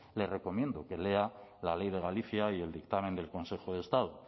le recomiendo que lea la ley de galicia y el dictamen del consejo de estado